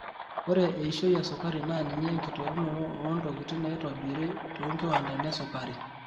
Ore eishoi esukari na ninye enkiterunotoo oo ntokitin naitobiri tonkiwandani esukari.